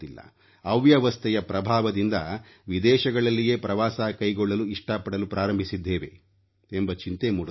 ಅವ್ಯವಸ್ಥೆಯ ಪ್ರಭಾವದಿಂದ ವಿದೇಶಗಳಲ್ಲಿಯೇ ಪ್ರವಾಸ ಕೈಗೊಳ್ಳಲು ಇಷ್ಟ ಪಡಲು ಪ್ರಾರಂಭಿಸಿದ್ದೇವೆ ಎಂಬ ಚಿಂತೆ ಮೂಡುತ್ತದೆ